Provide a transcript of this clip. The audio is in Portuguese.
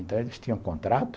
Então, eles tinham contrato,